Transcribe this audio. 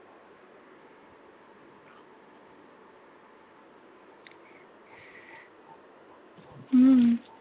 हम्म